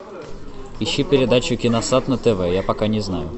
ищи передачу киносад на тв я пока не знаю